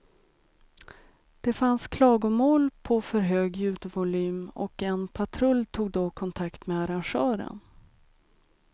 Det fanns klagomål på för hög ljudvolym och en patrull tog då kontakt med arrangören.